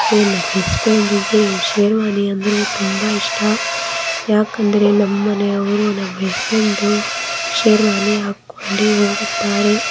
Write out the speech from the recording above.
ಏ ನಮ್ ಹಸ್ಬೆಂಡ್ ಗೆ ಶೇರ್ವಾನಿ ಅಂದ್ರೆ ತುಂಬಾ ಇಷ್ಟ. ಯಾಕಂದ್ರೆ ನಮ ಮನೆಯವ್ರು ನಮ ಹಸ್ಬೆಂಡ್ ಶೇರ್ವಾನಿ ಹಾಕೊಂಡಿ ಹೋಗುತ್ತಾರೆ.